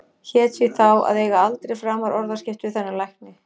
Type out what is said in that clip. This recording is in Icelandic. Hét því þá að eiga aldrei framar orðaskipti við þennan lækni.